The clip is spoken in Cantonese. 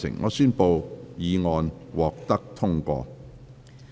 我宣布議案獲得通過。